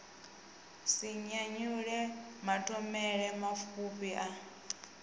si nyanyule mathomele mapfufhi a